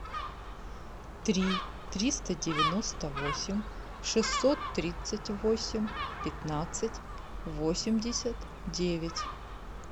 три триста девяносто восемь шестьсот тридцать восемь пятнадцать восемьдесят девять